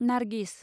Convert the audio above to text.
Nargis